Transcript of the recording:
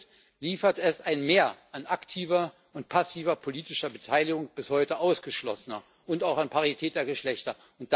Und liefert es ein Mehr an aktiver und passiver politischer Beteiligung bis heute Ausgeschlossener und auch an Parität der Geschlechter?